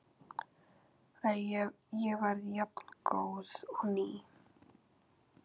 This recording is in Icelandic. Ég verð jafngóð og ný.